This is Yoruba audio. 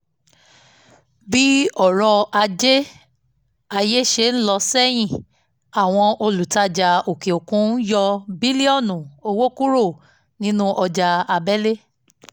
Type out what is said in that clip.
bí ọrọ̀ ajé ayé ṣe ń lọ sẹ́yìn àwọn olùtajà òkè òkun yọ bílíọ́nù owó kúrò nínú ọjà abẹ́lẹ̀